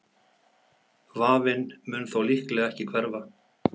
Vafinn mun þó líklega ekki hverfa.